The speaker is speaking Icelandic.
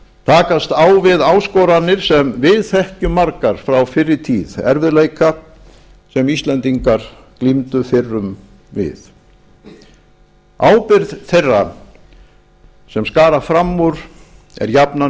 takast á við áskoranir sem við þekkjum margar frá fyrri tíð erfiðleika sem íslendingar glímdu fyrrum við ábyrgð þeirra sem skara fram úr er jafnan